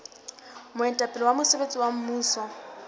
moetapele wa mosebetsi wa mmuso